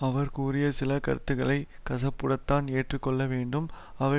அவர் கூறிய சில கருத்துக்களை கசப்புடன்தான் எடுத்துக்கொள்ளவேண்டும் அவை